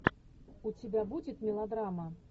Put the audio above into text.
у тебя будет мелодрама